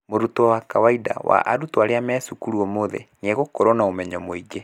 Mũrutwo wa kawaida wa arutwo arĩa marĩ cukuru ũmũthĩ, nĩ egũkorũo na ũmenyo mũingĩ.